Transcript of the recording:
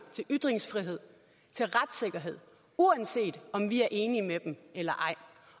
til ytringsfrihed til retssikkerhed uanset om vi er enige med dem eller ej